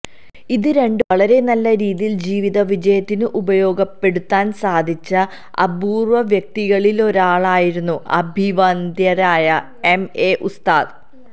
ഇത് രണ്ടും വളരെ നല്ലരീതിയില് ജീവിതവിജയത്തിനുപയോഗപ്പെടുത്താന് സാധിച്ച അപൂര്വം വ്യക്തികളിലൊരാളായിരുന്നു അഭിവന്ദ്യരായ എം എ ഉസ്താദ്